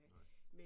Nej